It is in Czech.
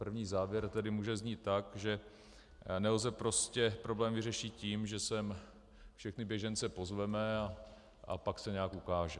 První závěr tedy může znít tak, že nelze prostě problém vyřešit tím, že sem všechny běžence pozveme a pak se nějak ukáže.